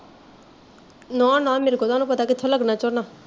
ਨਾ ਨਾ ਮੇਰੇ ਕੋਲੋਂ ਤੁਹਾਨੂੰ ਪਤਾ ਕਿਥੋਂ ਲੱਗਣਾ ਝੋਨਾ